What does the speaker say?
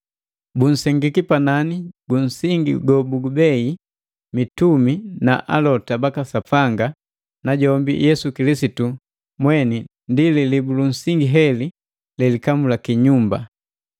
Bunsengiki panani ju nsingi gobugubei mitumi na Alota baka Sapanga najombi Yesu Kilisitu mweni ndi lilibu lunsingi heli lelikamulaki nyumba.